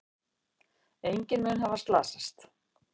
Enginn mun hafa slasast.